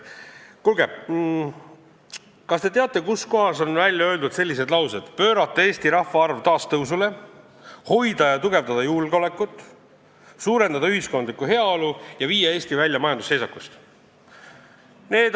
Kuulge, kas te teate, kus kohas on välja öeldud sellised eesmärgid: "Pöörata Eesti rahvaarv taas tõusule, hoida ja tugevdada julgeolekut, suurendada ühiskondlikku heaolu, viia Eesti välja majandusseisakust.